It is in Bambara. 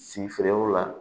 Si feerew la